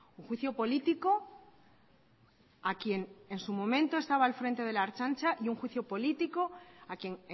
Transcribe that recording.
un juicio político a quien en su momento estaba al frente de la ertzaintza y un juicio político a quien